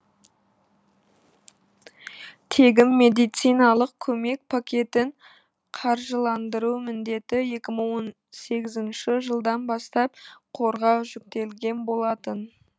тегін медициналық көмек пакетін қаржыландыру міндеті екі мың он сегізінші жылдан бастап қорға жүктелген болатын